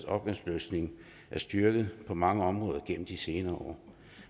opgaveløsning er styrket på mange områder gennem de senere år